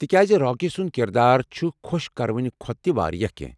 تہِ كیازِ راكی سٗند كِردار چھٗ خو٘ش كروٕنہِ كھوتہٕ تہِ وارِیاہ كینہہ ۔